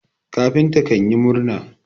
kafinta kanyi murna